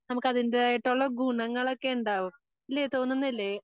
നമുക്ക് അതിൻറെതായിട്ടുള്ള ഗുണങ്ങളൊക്കെ ഇണ്ടാകും. ഇല്ലേ തോന്നുന്നില്ലേ?